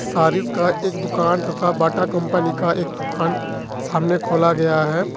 तारीफ का एक दुकान तथा बाटा कंपनी का एक दुकान सामने खोला गया है।